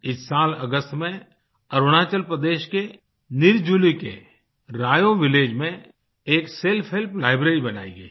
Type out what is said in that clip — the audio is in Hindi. इस साल अगस्त में अरुणाचल प्रदेश के निरजुली के रायो विलेज में एक सेल्फ हेल्प लाइब्रेरी बनाई गई है